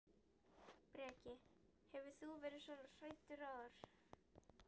Breki: Hefur þú verið svona hræddur áður?